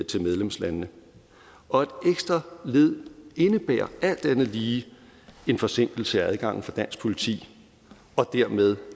til medlemslandene og et ekstra led indebærer alt andet lige en forsinkelse af adgangen for dansk politi og dermed